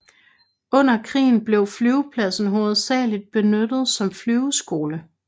Under krigen blev flyvepladsen hovedsageligt benyttet som flyveskole